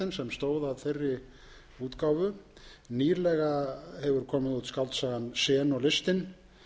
stóð að þeirri útgáfu nýlega hefur komið út skáldsagan zen og listin